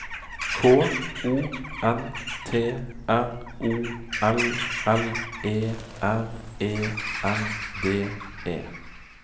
K O N T R O L L E R E N D E